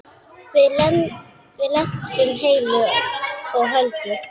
Við lentum heilu og höldnu.